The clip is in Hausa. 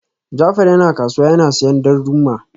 Jafar yana kasuwa yana siyan darduma